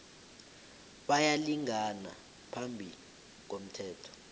bayalingana phambi komthetho